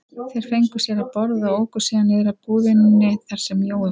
Þeir fengu sér að borða og óku síðan niður að búðinni þar sem Jói vann.